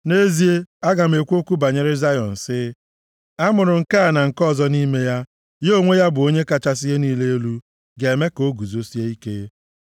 Nʼezie, a ga-ekwu okwu banyere Zayọn sị, “A mụrụ nke a na nke ọzọ nʼime ya, ya onwe ya, bụ Onye kachasị ihe niile elu, ga-eme ka o guzosie ike.”